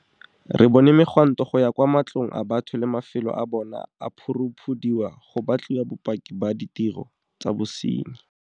Re bone megwanto go ya kwa matlong a batho le mafelo a bona a phuruphudiwa go batliwa bopaki ba ditiro tsa bosenyi.